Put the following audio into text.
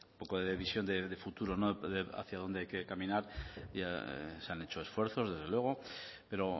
poco de visión de futuro no hacia dónde hay que caminar ya se han hecho esfuerzos desde luego pero